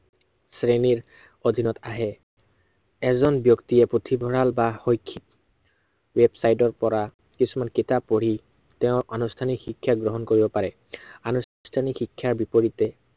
শ্ৰেণীৰ, অধীনত আহে। এজন ব্য়ক্তিয়ে পুথিভঁৰাল বা শৈক্ষিক website ৰ পৰা কিছুমান কিতাপ পঢ়ি, তেওঁৰ আনুষ্ঠানিক শিক্ষা গ্ৰহণ কৰিব পাৰে। আনুষ্ঠানিক শিক্ষাৰ বিপৰীতে